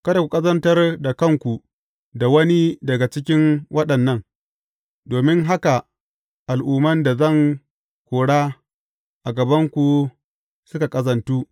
Kada ku ƙazantar da kanku da wani daga cikin waɗannan, domin haka al’umman da zan kora a gabanku suka ƙazantu.